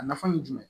A nafa ye jumɛn ye